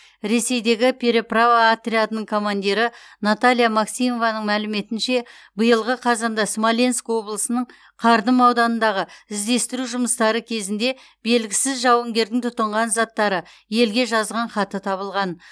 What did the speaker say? ресейдегі переправа отрядының командирі наталья максимованың мәліметінше биылғы қазанда смоленск облысының кардым ауданындағы іздестіру жұмыстары кезінде белгісіз жауынгердің тұтынған заттары елге жазған хаты табылған